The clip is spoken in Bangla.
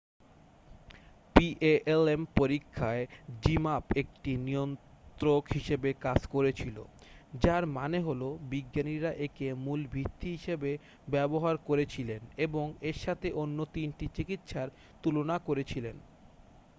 palm পরীক্ষায় zmapp একটি নিয়ন্ত্রক হিসাবে কাজ করেছিল যার মানে হলো বিজ্ঞানীরা একে মূল ভিত্তি হিসেবে ব্যবহার করেছিলেন এবং এর সাথে অন্য তিনটি চিকিৎসার তুলনা করেছিলেন